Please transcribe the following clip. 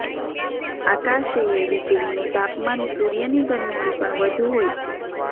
આકાશેયે વીજળીનુ તપામાન સૂર્યની ગરમીથી પણ વધુ હોય છે